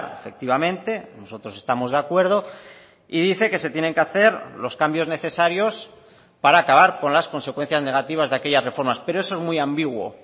efectivamente nosotros estamos de acuerdo y dice que se tienen que hacer los cambios necesarios para acabar con las consecuencias negativas de aquellas reformas pero eso es muy ambiguo